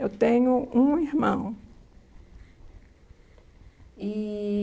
Eu tenho um irmão. E...